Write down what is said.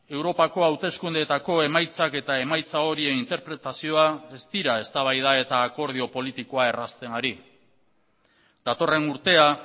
europako hauteskundeetako emaitzak eta emaitza horien interpretazioa ez dira eztabaida eta akordio politikoa errazten ari datorren urtea